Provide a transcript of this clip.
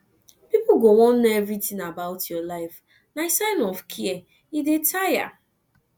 pipo go wan know everytin about your life na sign of care e dey tire